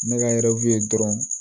N bɛ ka yɛrɛw dɔrɔn